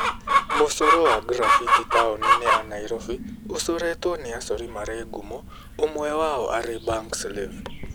Mũcoro wa graffiti taũni-inĩ ya Nairobi ũcoretwo nĩ acori marĩ ngumo ũmwe wao arĩ Bankslave.